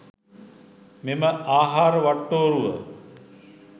මෙම ආහාර වට්ටෝරුව